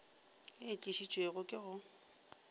ye e tlišitšwe ke go